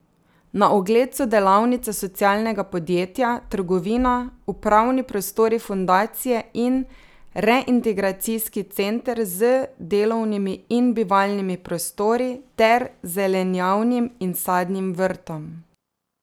Na ogled so delavnice socialnega podjetja, trgovina, upravni prostori Fundacije in reintegracijski center z delovnimi in bivalnimi prostori ter zelenjavnim in sadnim vrtom.